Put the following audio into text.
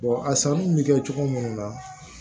a sanni bɛ kɛ cogo minnu na